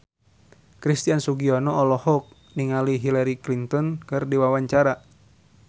Christian Sugiono olohok ningali Hillary Clinton keur diwawancara